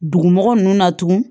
Dugumɔgɔ nunnu na tugun